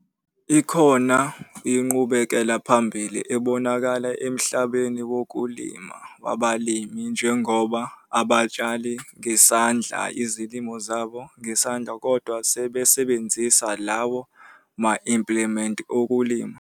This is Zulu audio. Ikhona inqubekela phambili ebonakele emhlabeni wokulima wabalimi njengoba abasatshali ngesandla izilimo zabo ngesandla kodwa sebesebenzisa lawo ma-impliment okulima.